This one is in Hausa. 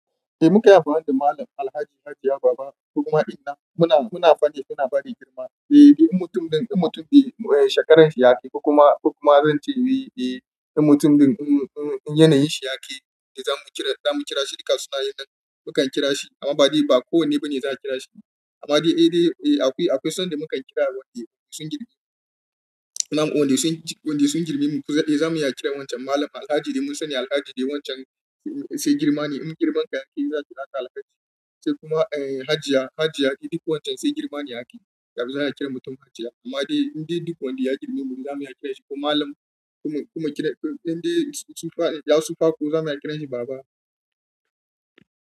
Eh muka yi farin ciki da Mallam Alhaji Hajiya Baba, ko kuma inna muna, muna faɗi muna ba da girma. Eh, in mutum ɗin, in mutum, eh shekarar shi ya ke, kuma, kuma zan ce, eh, eh in mutum ɗin, in, in, in yanayin shi ya kai, eh za mu kira, za mu kira shi duka sunaye nan, mu kan kira shi. Amma ba dai ba kowane bane za a kira shi. Amma dai eh, dai eh akwai, akwai sanda mukan kira wanda sun girmi mu. Na waɗanda sun, wanda sun girme mu. Kuda eh za mu iya kiran wancan Mallam Alhaji dai mun sani Alhaji dai wancan sai girma ne. In girman ka ya ke za ka kira Alhaji. Sai kuma, eh Hajiya, Hajiya duk wancan sai girma ne ya kai. Zaa mu kira mutum Hajiya. Amma dai, inda duk wanda ya girme mu za mu iya kiranshi ko Mallam. Kuma, kuma kira, inda sun fa, ya sufa kuma zamu iya kirashi baba.